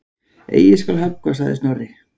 Eigi skal höggva sagði Snorri.